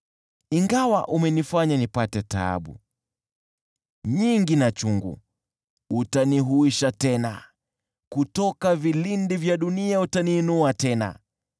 Ingawa umenifanya nipate taabu, nyingi na chungu, utanihuisha tena, kutoka vilindi vya dunia utaniinua tena.